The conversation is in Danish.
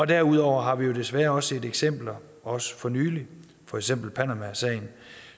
derudover har vi desværre også set eksempler også for nylig for eksempel panamasagen